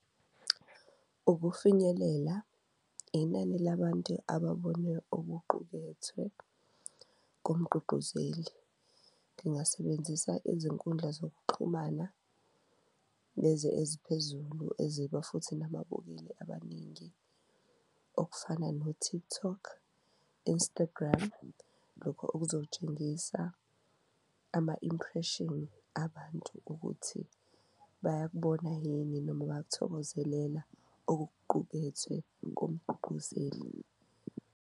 Ukufinyelela, inani labantu ababone okuqukethwe ngomugqugquzeli ngingasebenzisa izinkundla zokuxhumana lezi eziphezulu eziba futhi nababukeli abaningi okufana no-TikTok, Instagram. Lokho okuzotshengisa ama-impression abantu ukuthi bayakubona yini noma bayakuthokozelela okuqukethwe ngomgqugquzeli.